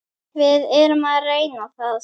Við erum að reyna það.